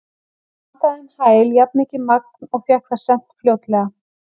Ég pantaði um hæl jafnmikið magn og fékk það sent fljótlega.